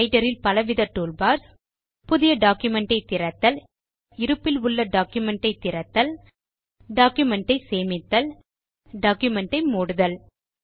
writer இல் பலவித toolbars புதிய டாக்குமென்ட் ஐ திறத்தல் இருப்பில் உள்ள டாக்குமென்ட் ஐ திறத்தல் டாக்குமென்ட் ஐ சேமித்தல் டாக்குமென்ட் ஐ மூடுதல்